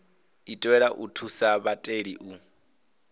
itelwa u thusa vhatheli u